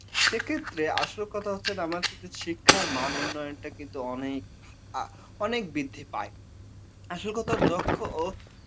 সেক্ষেত্রে আসল কথা হচ্ছে আমার হচ্ছে যে শিক্ষার মান উন্নয়ন টা কিন্তু অনেক বৃদ্ধি পায়। আসল কথা দক্ষ ও